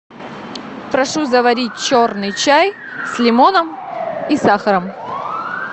прошу заварить черный чай с лимоном и сахаром